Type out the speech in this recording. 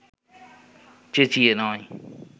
চেঁচিয়ে নয়